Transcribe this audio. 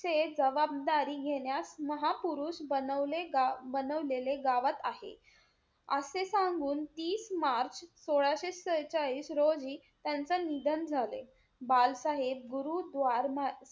चे जबाबदारी घेण्यास महापुरुष बनवले~ बनवलेले गावात आहे. असे सांगून, तीस मार्च सोळाशे त्रेचाळीस रोजी त्यांचे निधन झाले. बालसाहेब गुरु द्वार,